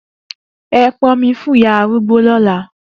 E pon omi fun iya arugbo lola!